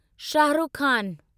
Shahrukh Khan